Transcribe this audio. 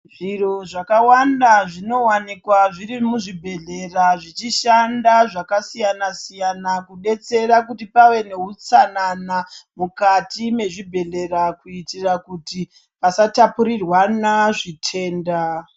Zviro zvakawanda zvinovanikwa zviri muzvibhedhlera zvichishanda zvakasiyana-siyana, kudetsera kuti pave nehutsanana mukati mezvibhedhlera. Kuitira kuti pasatapurirwana zvitenda.